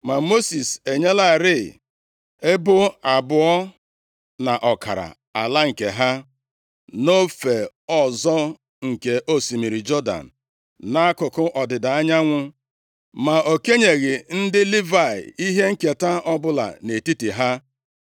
Ma Mosis enyelarị ebo abụọ na ọkara ala nke ha nʼofe ọzọ nke osimiri Jọdan, nʼakụkụ ọdịda anyanwụ. Ma o kenyeghị ndị Livayị ihe nketa ọbụla nʼetiti ha.